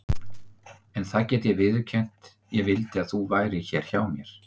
En það get ég viðurkennt: ég vildi að þú værir hér hjá mér.